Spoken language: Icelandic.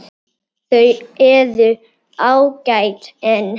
Þau eru ágæt en.